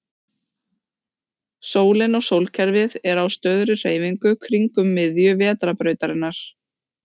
Sólin og sólkerfið er á stöðugri hreyfingu kringum miðju Vetrarbrautarinnar.